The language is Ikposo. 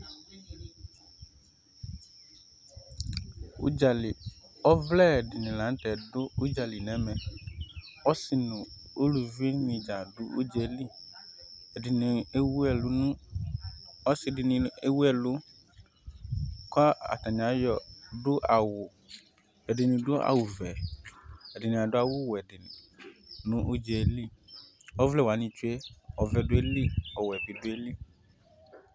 Udza lɩ Ɔʋlɛ di ni la n'tɛ du udza lɩ n'ɛmɛ Ɔsi nu uluvɩ ni dzaa du udz'elɩ Ɛdini ewu ɛlu nu, ɔsi di ni ewu ɛlu kɔ atani ayɔ du awu, ɛdi ni du awu ʋɛ, ɛdi ni adu awu wɛ di ni nu udz'ɛ lɩ Ɔʋlɛ wa ni tsue ɔʋɛ due lɩ, ɔwɛ bi due lɩ